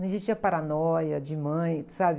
Não existia a paranoia de mãe, sabe?